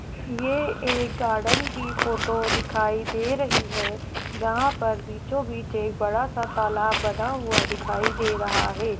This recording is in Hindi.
ये एक गार्डन की फोटो दिखाई दे रही है जहां पर बीचों-बीच एक बड़ा सा तालाब बना हुआ दिखाई दे रहा है।